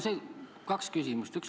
Mul on kaks küsimust.